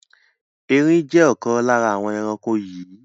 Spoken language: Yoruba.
Erin jẹ́ ọ̀kan lára àwọn ẹranko yii